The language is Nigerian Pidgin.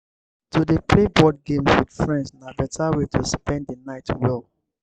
to dey play board games with friends na beta way to spend the night well.